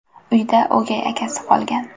Uyda o‘gay akasi qolgan.